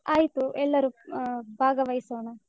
ಆಯ್ತು, ಎಲ್ಲರೂ ಆಹ್ ಭಾಗವಹಿಸೋಣ.